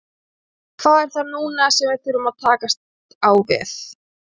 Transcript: Hvað er það núna sem við þurfum að takast á við?